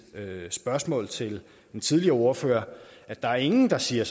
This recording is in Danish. spørgsmål til den tidligere ordfører at der er ingen der siger